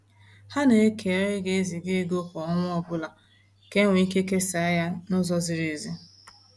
Ha na-eke onye ga eziga ego kwa ọnwa ọbụla ka enwe ike kesa ya na-ụzọ ziri ezi